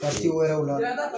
wɛrɛw la